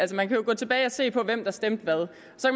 man kan jo gå tilbage og se på hvem der stemte hvad